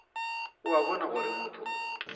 o a bona gore motho